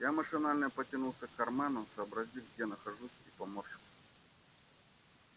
я машинально потянулся к карману сообразил где нахожусь и поморщился